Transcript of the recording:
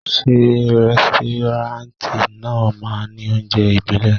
Ṣé rẹ́stọ́ráǹtì náà máa ní oúnjẹ ibile?